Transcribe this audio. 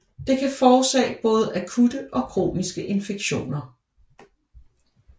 Det kan forårsage både akutte og kroniske infektioner